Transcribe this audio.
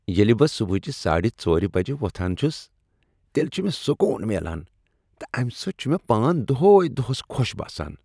ییٚلہِ بہٕ صُبحٲچہِ ساڈِ ژورِ بجہ ووتھان چُھس تیٚلہِ چُھ مےٚ سکون میلان تہٕ امہ سۭتۍ چُھ مےٚ پان دوٚہٕے دۄہس خۄش باسان ۔